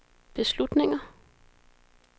beslutninger